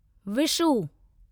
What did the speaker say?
Vishu